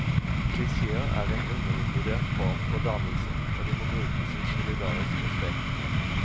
Klisjéer er en undervurdert form for dannelse, og de må brukes i solidarisk respekt.